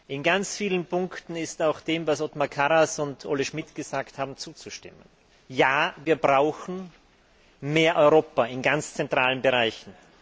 In ganz vielen Punkten ist auch dem, was Othmar Karas und Olle Schmidt gesagt haben, zuzustimmen Ja, wir brauchen mehr Europa in ganz zentralen Bereichen.